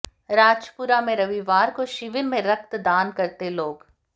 राजपुरा में रविवार को शिविर में रक्तदान करते लोग